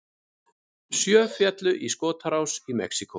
Sjö féllu í skotárás í Mexíkó